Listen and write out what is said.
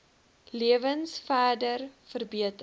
lewens verder verbeter